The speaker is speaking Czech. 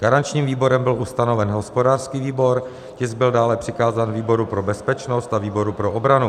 Garančním výborem byl ustanoven hospodářský výbor, tisk byl dále přikázán výboru pro bezpečnost a výboru pro obranu.